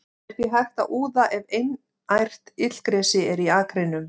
Það er því hægt að úða ef einært illgresi er í akrinum.